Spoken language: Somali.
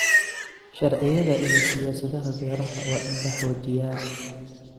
Sharciyada iyo siyaasadaha beeraha waa in la xoojiyaa.